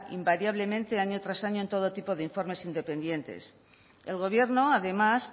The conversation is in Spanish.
invariablemente año tras año en todo tipo de informes independientes el gobierno además